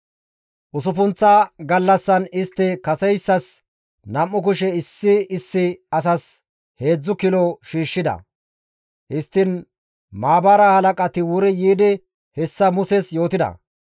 Usuppunththa gallassan istti kaseyssas nam7u kushe issi issi asas heedzdzu kilo shiishshida. Histtiin maabara halaqati wuri yiidi hessa Muses yootida.